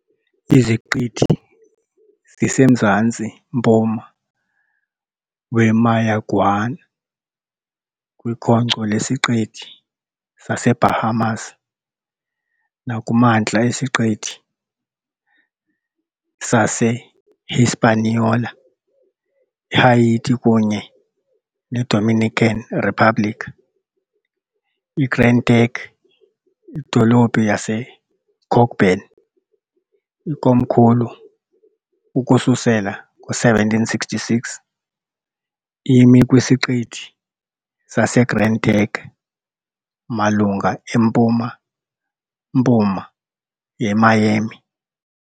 Iziqithi zisemzantsi-mpuma weMayaguana kwikhonkco lesiqithi saseBahamas nakumantla esiqithi saseHispaniola iHaiti kunye neDominican Republic. IGrand Turk, idolophu yaseCockburn, ikomkhulu ukususela ngo-1766, imi kwiSiqithi saseGrand Turk malunga empuma-mpuma yeMiami.